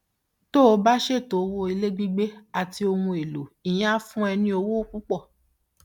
tó o bá ṣètò owó ilé gbígbé àti ohun èlò ìyẹn á fún ọ ní owó púpọ